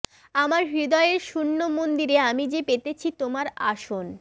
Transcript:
আমার হৃদয়ের শূন্য মন্দিরে আমি যে পেতেছি তোমার আসন